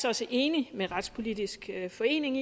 også enig med retspolitisk forening